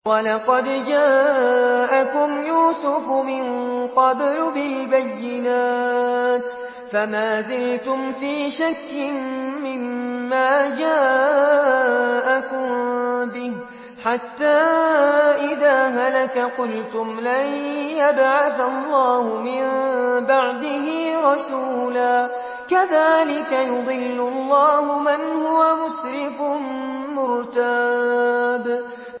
وَلَقَدْ جَاءَكُمْ يُوسُفُ مِن قَبْلُ بِالْبَيِّنَاتِ فَمَا زِلْتُمْ فِي شَكٍّ مِّمَّا جَاءَكُم بِهِ ۖ حَتَّىٰ إِذَا هَلَكَ قُلْتُمْ لَن يَبْعَثَ اللَّهُ مِن بَعْدِهِ رَسُولًا ۚ كَذَٰلِكَ يُضِلُّ اللَّهُ مَنْ هُوَ مُسْرِفٌ مُّرْتَابٌ